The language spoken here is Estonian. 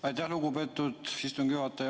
Aitäh, lugupeetud istungi juhataja!